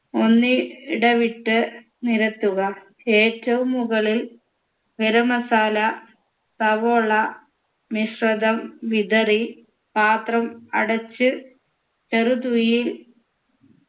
ഒന്നി ഇടവിട്ട് നിരത്തുക ഏറ്റവും മുകളിൽ ഗരം masala സവോള മിശ്രിതം വിതറി പാത്രം അടച്ച് ചെറു തീയിൽ